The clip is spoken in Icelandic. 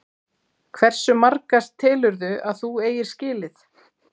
Hversu marga telurðu að þú eigir skilið?